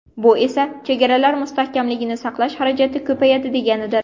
Bu esa chegaralar mustahkamligini saqlash xarajati ko‘payadi deganidir.